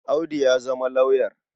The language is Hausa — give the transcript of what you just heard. Audu ya zama lauyer.